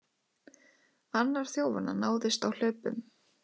Annar þjófanna náðist á hlaupum